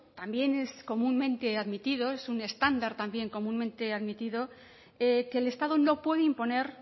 también es comúnmente admitido es un estándar también comúnmente admitido que el estado no puede imponer